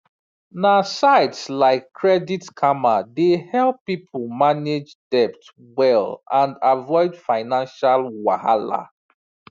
na sites like credit karma dey help people manage debt well and avoid financial wahala